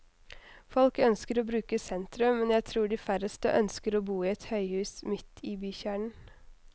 Folk ønsker å bruke sentrum, men jeg tror de færreste ønsker å bo i et høyhus midt i bykjernen.